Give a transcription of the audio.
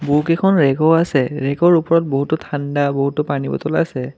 বহুকেইখন ৰেগো আছে ৰেগৰ ওপৰত বহুতো ঠাণ্ডা বহুতো পানীৰ বটল আছে।